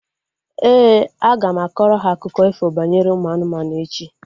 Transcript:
Éè, aga m akọrọ ha akụkọ ifo banyere ụmụ anụmanụ echi